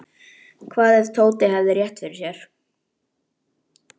Hvað ef Tóti hefði rétt fyrir sér?